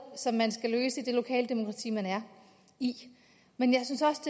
som man skal løse i det lokale demokrati man er i men jeg synes også